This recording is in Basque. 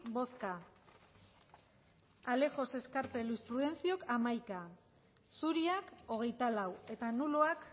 bai hamaika bai hogeita lau zuri